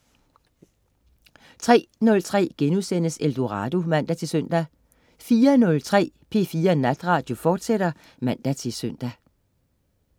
03.03 Eldorado* (man-søn) 04.03 P4 Natradio, fortsat (man-søn)